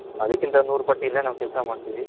ಅದಿಕಿಂತ ನೂರುಪಟ್ಟು ಇಲ್ಲೇ ಕೆಲೆಸ ಮಾಡ್ತಿವಿ